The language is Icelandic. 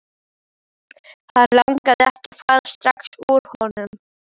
Hann langaði ekki að fara strax úr honum.